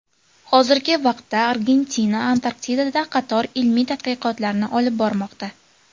Hozirgi vaqtda Argentina Antarktidada qator ilmiy tadqiqotlarni olib bormoqda.